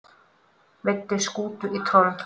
Veiddu skútu í troll